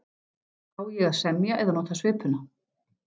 Á ég að semja eða nota svipuna!